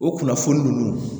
O kunnafoni ninnu